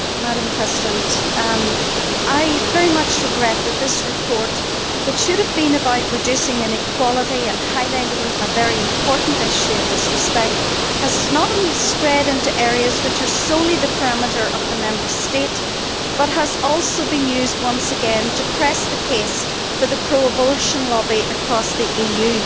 Madam President, I very much regret that this report, which should have been about reducing inequality and highlighting a very important issue in this respect, has not only strayed into areas which are solely within the remit of the Member State, but has also been used once again to press the case for the pro abortion lobby across the EU.